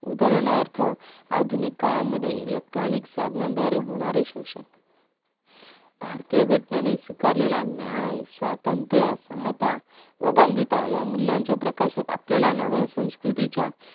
उदाहरणार्थ आधुनिक काळामध्ये electronic साधनांद्वारे होणारे शोषण भारतीय घटनेने स्वीकारलेल्या न्याय स्वत्रंत क्षमता व बंधुत्वा या मूल्याच्या प्रकाशात आपल्याला नव्या संस्कृतींच्या